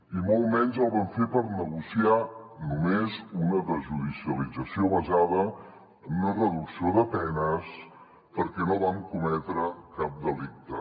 i molt menys el vam fer per negociar només una desjudicialització basada en una reducció de penes perquè no vam cometre cap delicte